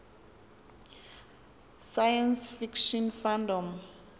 science fiction fandom